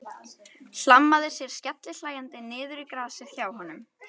Hlammaði sér skellihlæjandi niður í grasið hjá honum.